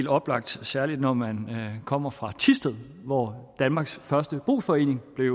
oplagt særlig når man kommer fra thisted hvor danmarks første brugsforening blev